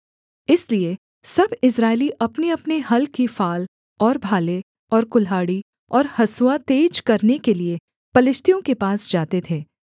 इसलिए सब इस्राएली अपनेअपने हल की फाल और भाले और कुल्हाड़ी और हँसुआ तेज करने के लिये पलिश्तियों के पास जाते थे